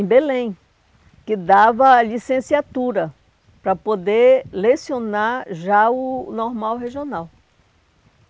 Em Belém, que dava a licenciatura para poder lecionar já o normal regional.